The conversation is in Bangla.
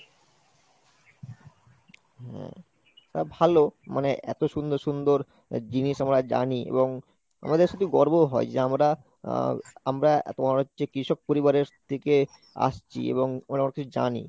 তা ভালো মানে এত সুন্দর সুন্দর জিনিস আমরা জানি এবং আমাদের শুধু গর্বও হয় যে আমরা আহ আমরা এত মনে হচ্ছে কৃষক পরিবারের থেকে আসছি এবং আমরা জানি